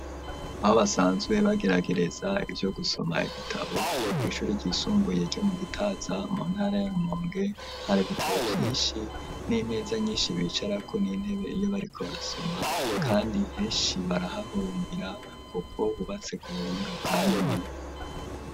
abo basanzwe bageragereza ivyo gusoma ibitabo ku ishuri ryisumbuye ryo mu gitaza mu ntara yarumonge hari ibitabo byinshi n'imeza nyinshi bicarako n'intebe iyo bariko barasoma kandi heshi barahahurumbira kuko hubatse ku buhinga bwa none.